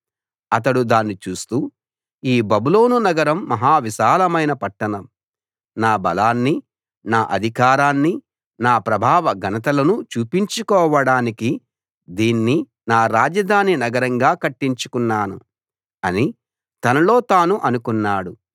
అతడు దాన్ని చూస్తూ ఈ బబులోను నగరం మహా విశాలమైన పట్టణం నా బలాన్ని నా అధికారాన్ని నా ప్రభావ ఘనతలను చూపించుకోవడానికి దీన్ని నా రాజధాని నగరంగా కట్టించుకున్నాను అని తనలో తాను అనుకున్నాడు